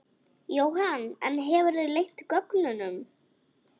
Jóhann: En hefurðu leynt gögnum?